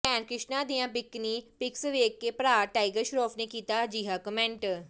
ਭੈਣ ਕ੍ਰਿਸ਼ਨਾ ਦੀਆਂ bikini pics ਵੇਖ ਭਰਾ ਟਾਈਗਰ ਸ਼ਰਾਫ ਨੇ ਕੀਤਾ ਅਹਿਜਾ ਕੁਮੈਂਟ